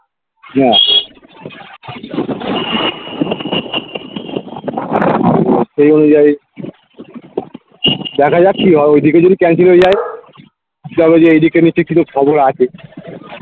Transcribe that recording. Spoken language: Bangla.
না সেই অনুযায়ী দেখা যাক কি হয় ঐদিকে যদি cancel হয়ে যায় ছ জন আছে